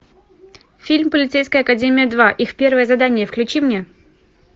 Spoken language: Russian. фильм полицейская академия два их первое задание включи мне